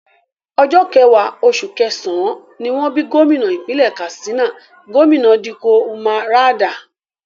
Ọjọ́ kẹwàá, oṣù kẹsàn-án, ni wọ́n bí gómìnà ìpínlẹ̀ Katsina, Gómìnà Dikko Umar Radda